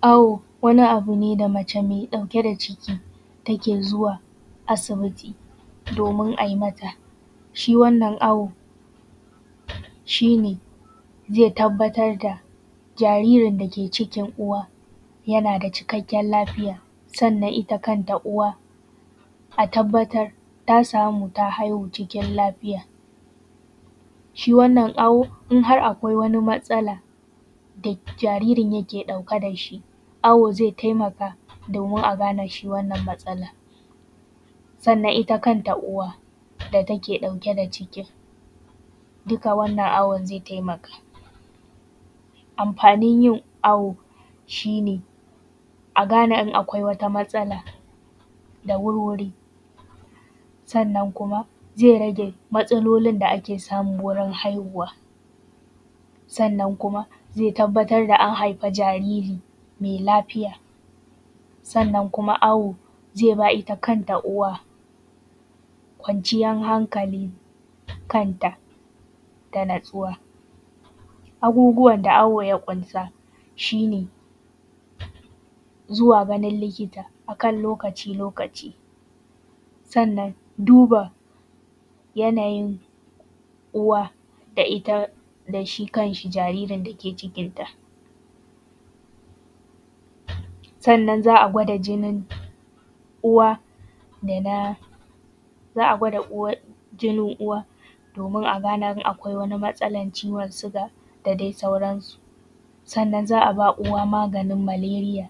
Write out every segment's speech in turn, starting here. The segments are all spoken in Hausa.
Awo wani abu ne da mace mai ɗauki da ciki take zuwa asbiti, domin a yi mata, shi wannan awo, shi ne zai tabbatar da jaririn da ke cikin uwa, yana da cikakken lafiya. Sannan ita kan ta uwa, a tabbatar ta samu ta haihu cikin lafiya. Shi wannan awo idan har akai wata matsala da jaririn yake ɗauke shi, awo zai taimaka domin a gane shi wannan matsalan, sannan ita kanta uwa da ke ɗauke da wannan cikin, duka wannan awon zai taimaka. Amfanin yin awo shi ne a gane in akwai wata matsala da wurwuri, ssannan kuma zai rage matsalolin da ake samu wurin haihuwa. Sannan kuma zai tabbatar da an haifi jariri mai lafiya, sannan kuma awo, zai ba ita kanta uwa, kwanciyan hankali kanta da natsuwa. Abucuwan da akiwo ya ƙunsa shi ne, zuwa wurin likita a lokaci-lokaci. Sannan duba yanayin uwa da ita da shi kan shi jaririn da ke cikin ta. Sannan za a gwada jinin uwa, da na za a uwa jinin uwa, domin a gane in akwai matsalan ciwon siga da dai sauransu. Sannan za a bawa uwa maganin maleriya,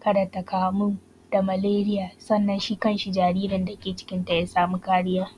kada ta kamu da maleriya da shi kan shi jaririn dake cikinta ya samu kariya